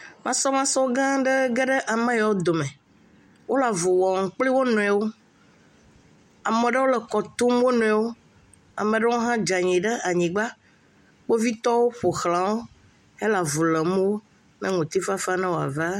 Masɔmasɔgã ɖe ge ɖe ame yawo dome. Wole avu wɔm kpli wo nɔewo. Amaa ɖewo le kɔ tum wo nɔewo, ame ɖewo hã dze anyi ɖe anyigba. Kpovitɔwo ƒo ʋlã wo hele avu lém wo be ŋutifafa ne wòava.